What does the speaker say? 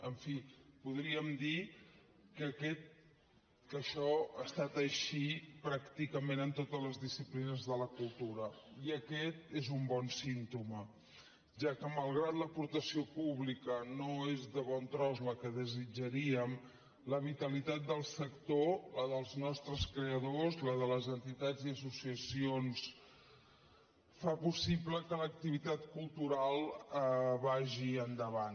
en fi podríem dir que això ha estat així pràcticament en totes les disciplines de la cultura i aquest és un bon símptoma ja que malgrat que l’aportació pública no és ni de bon tros la que desitjaríem la vitalitat del sector la dels nostres creadors la de les entitats i associacions fa possible que l’activitat cultural vagi endavant